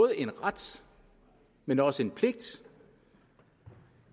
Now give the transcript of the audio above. en ret men også en pligt